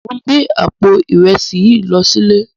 Mó n gbé àpó irèsí this lò silé